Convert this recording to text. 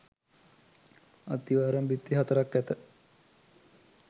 අත්තිවාරම් බිත්ති හතරක් ඇත.